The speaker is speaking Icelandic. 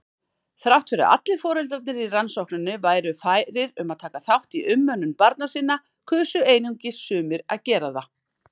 Þrátt fyrir að allir foreldrarnir í rannsókninni væru færir um að taka þátt í umönnun barna sinna kusu einungis sumir að gera það.